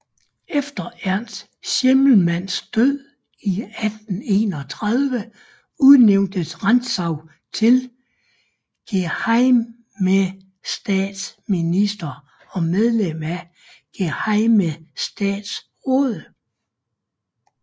Efter Ernst Schimmelmanns død i 1831 udnævntes Rantzau til gehejmestatsminister og medlem af gehejmestatsrådet